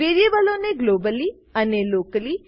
વેરીએબલો ને ગ્લોબલી અને લોકલી